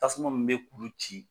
Tasuma min bɛ kulu ci.